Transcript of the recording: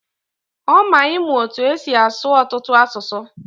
O mma ịmụ etu esi asụ ọtụtụ asụsụ.